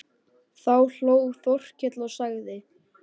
Þá hló Þórkell og sagði